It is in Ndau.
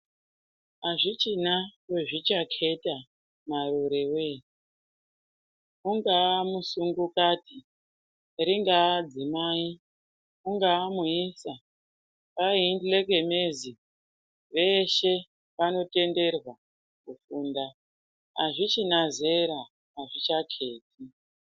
Azvichina wezvichaketa marure wee ungaa musungukati ringaa dzimai ungaa muisa aive munjekenezi veshe vanotenderwa kufunda azvichina zera azvichakheti.